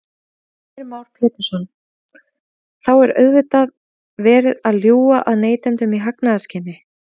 Heimir Már Pétursson: Þá er auðvitað verið að ljúga að neytendum í hagnaðarskyni?